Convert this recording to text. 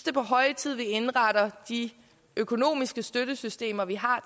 er på høje tid at vi indretter de økonomiske støttesystemer vi har